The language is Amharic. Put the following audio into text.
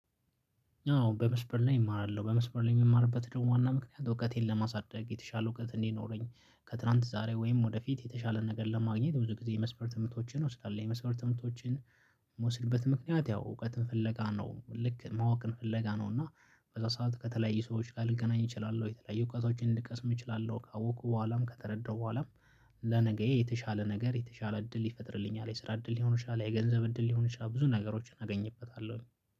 አዎ በመስመር ላይ እማራለሁ በመስበር ላይ የሚማርበት ደግሞ ዋና ምክንያት እውቀቴን ለማሳደግ የተሻለ እውቀት እንዲኖረኝ ከትላንት ዛሬ ወይም ወደፊት የተሻለ ነገር ለማግኘት ብዙ ጊዜ የመስፈር ትምህርቶችን እወስዳለሁ የመስመር ትምህርቶችን። የምወስድበት ምክንያት ያው እውቀትን ፍለጋ ነው ልክ ማወቅን ፍለጋ ነው። እና በዛ ሰዓት ከተለያዩ ሰዎች ልገናኝ እችላለሁ የተለያዩ እውቀቶችን ልቀስም እችላለሁ ካወቁ በኋላም ከተረዳሁ በኋላም። ለነገዬ የተሻለ ነገር የተሻለ እድል ይፈጥርልኛል የስራ እድል ሊሆን ይችላል የገንዘብ እድል ሊሆን ይችላል ብዙ ነገሮችን አገኝበታለሁ።